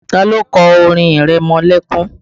Ta ló kọ orin ìrẹmọlẹ́kún?